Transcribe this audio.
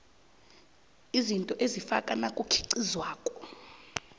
izinto ezifakwa nakukhiqizwako